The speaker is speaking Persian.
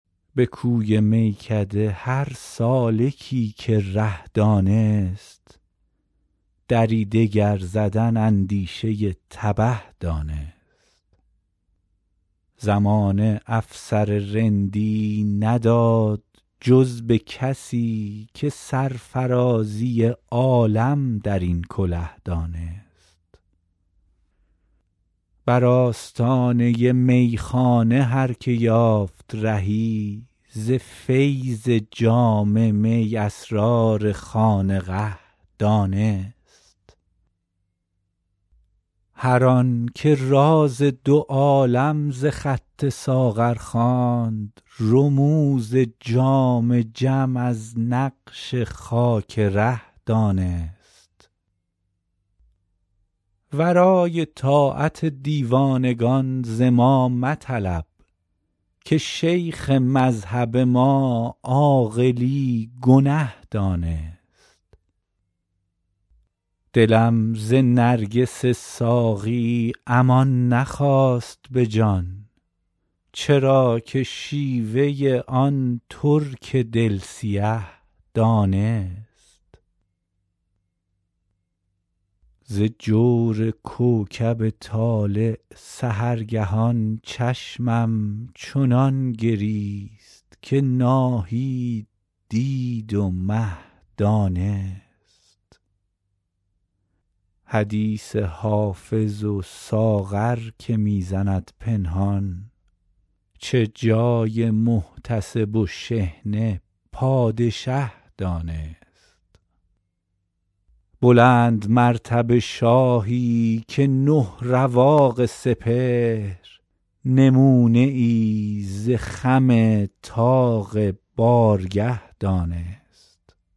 به کوی میکده هر سالکی که ره دانست دری دگر زدن اندیشه تبه دانست زمانه افسر رندی نداد جز به کسی که سرفرازی عالم در این کله دانست بر آستانه میخانه هر که یافت رهی ز فیض جام می اسرار خانقه دانست هر آن که راز دو عالم ز خط ساغر خواند رموز جام جم از نقش خاک ره دانست ورای طاعت دیوانگان ز ما مطلب که شیخ مذهب ما عاقلی گنه دانست دلم ز نرگس ساقی امان نخواست به جان چرا که شیوه آن ترک دل سیه دانست ز جور کوکب طالع سحرگهان چشمم چنان گریست که ناهید دید و مه دانست حدیث حافظ و ساغر که می زند پنهان چه جای محتسب و شحنه پادشه دانست بلندمرتبه شاهی که نه رواق سپهر نمونه ای ز خم طاق بارگه دانست